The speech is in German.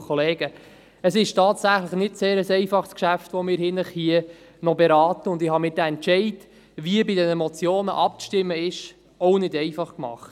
Es ist tatsächlich ein nicht sehr einfaches Geschäft, das wir heute Abend hier noch beraten, und ich habe mir den Entscheid, wie bei den Motionen abzustimmen ist, auch nicht einfach gemacht.